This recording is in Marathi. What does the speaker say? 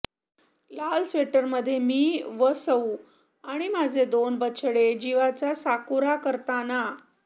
लाल स्वेटरमधे मी व सौ आणि माझे दोन बछडे जीवाचा साकुरा करताना